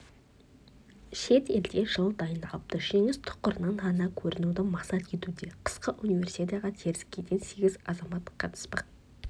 шетелде жыл дайындалыпты жеңіс тұғырынан ғана көрінуді мақсат етуде қысқы универсиадаға теріскейден сегіз азамат қатыспақ